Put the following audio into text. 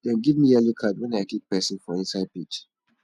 dem give me yellow card wen i kick pesin for inside pitch